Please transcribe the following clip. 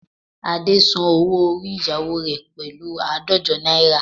Ade san owó orí ìyáwo rẹ̀ pẹ̀lú àádọ́jọ náírà